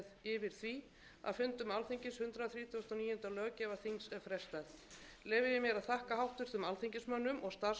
frestað leyfi ég mér að þakka háttvirtum alþingismönnum og starfsmönnum þingsins fyrir krefjandi störf